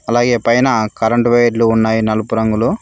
అలాగే పైన కరెంటు వైర్లు ఉన్నాయి నలుపు రంగులో.